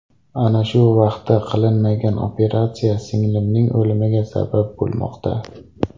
Ana shu vaqtida qilinmagan operatsiya singlimning o‘limiga sabab bo‘lmoqda.